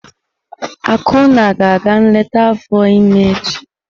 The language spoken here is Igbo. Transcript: Akunna ga-aga nleta afọ ímé echi.